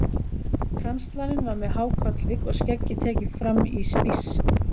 Kanslarinn var með há kollvik og skeggið tekið fram í spíss.